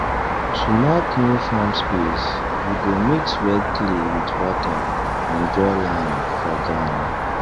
to mark new farm space we go mix red clay with water and draw line for ground